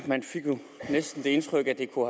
man fik jo næsten det indtryk at det kunne